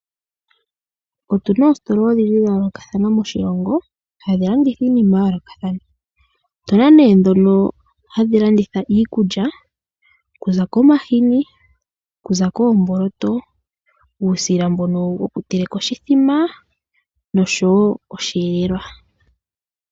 Otu na oositola odhindji dha yoolokathana moshilongo hadhi landitha iinima ya yoolokathana. Otu na nee ndhono hadhi landitha iikulya. Okuza komahini, okuza koomboloto, uusila mbono wokuteleka oshithima noshowo osheelelwa.